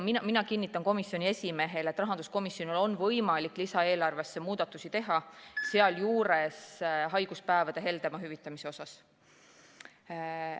Mina kinnitan komisjoni esimehele, et rahanduskomisjonil on võimalik lisaeelarves muudatusi teha, sealjuures haiguspäevade heldemaks hüvitamiseks.